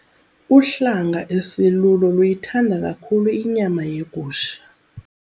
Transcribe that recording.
Uhlanga esilulo luyithanda kakhulu inyama yegusha.